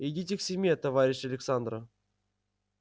идите к семье товарищ александра